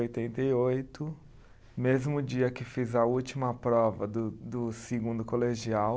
oitenta e oito, mesmo dia que fiz a última prova do do segundo colegial,